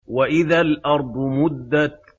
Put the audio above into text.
وَإِذَا الْأَرْضُ مُدَّتْ